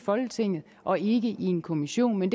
folketinget og ikke i en kommission men